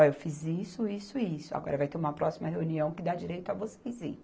Olha, eu fiz isso, isso e isso, agora vai ter uma próxima reunião que dá direito a vocês ir